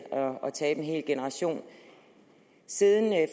at tabe en hel generation siden